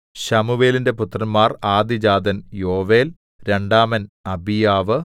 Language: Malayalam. ശമൂവേലിന്റെ പുത്രന്മാർ ആദ്യജാതൻ യോവേൽ രണ്ടാമൻ അബീയാവ്